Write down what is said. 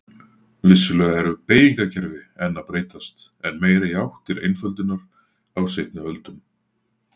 Vissulega eru beygingakerfi enn að breytast en meira í átt til einföldunar á seinni öldum.